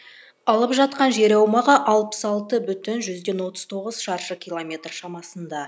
алып жатқан жер аумағы алпыс алты бүтін жүзден отыз тоғыз шаршы километр шамасында